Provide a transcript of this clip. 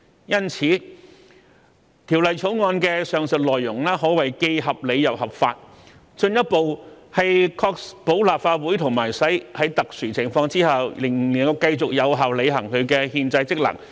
因此，《條例草案》的上述內容可謂既合理又合法，進一步確保立法會即使在特殊情況下仍能繼續有效履行其憲制職能。